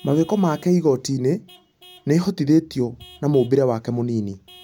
Mawĩko make igoti-inĩ nĩihotithĩtio na mũmbĩre wake mũnini.